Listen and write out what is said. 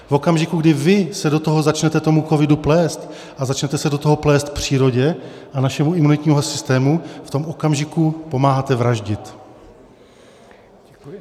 V okamžiku, kdy vy se do toho začnete tomu covidu plést a začnete se do toho plést přírodě a našemu imunitnímu systému, v tom okamžiku pomáháte vraždit.